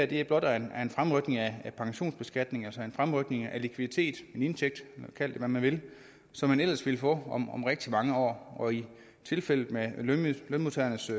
det her blot er en fremrykning af pensionsbeskatning altså en fremrykning af likviditet en indtægt kald det hvad man vil som man ellers ville få om om rigtig mange år og i tilfældet med lønmodtagernes